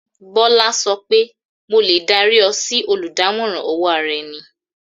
Bọ́lá sọ pé "mo lè dárí ọ sí oludamoran owó ara-ẹni."